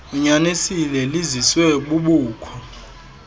unyanisile liziswe bubukho